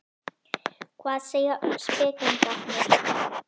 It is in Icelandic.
Hvað segja spekingarnir?